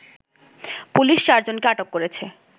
police চারজনকে আটক করেছে